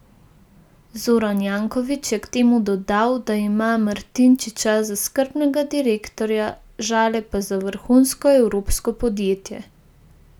Zoran Janković je k temu dodal, da ima Martinčiča za skrbnega direktorja, Žale pa za vrhunsko evropsko podjetje.